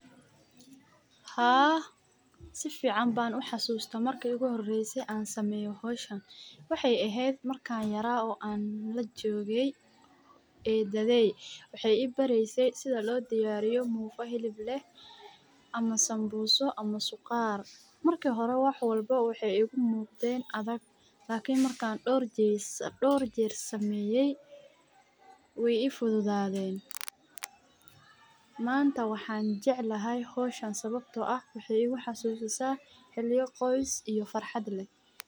Haa si fican ban u xasusta marki igu horese ee an sameyo howshan waxey ehed markan yaray oo an lajoge eedadhey waxey i barese sidha lo diyariyo mufa xilib leh ama sambuso ama suqaar. Marki hore wax walbo waxey igu muqden adaag lakin markan dhor jer sameyey wey i fududaden. Manta waxan jeclahay howshan sababto ah waxay i xasusisa xiliyo qoys iyo farxad leh.